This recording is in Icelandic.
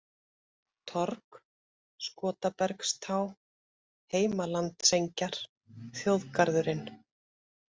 Torg, Skotabergstá, Heimalandsengjar, Þjóðgarðurinn